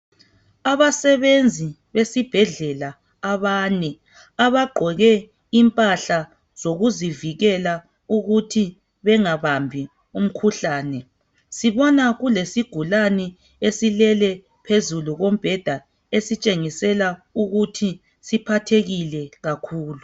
Abesebenzi besibhedlela abane , abagqoke impahla zokuzivikela ukuthi bengabambi umkhuhlane. Sibona kulesigulani esilele phezu kombheda esitshengisela ukuthi siphathekile kakhulu.